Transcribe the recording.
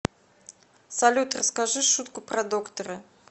салют расскажи шутку про доктора